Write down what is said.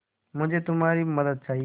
मुझे तुम्हारी मदद चाहिये